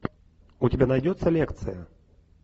у тебя найдется лекция